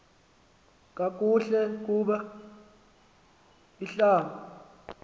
kakuhle kub ihlab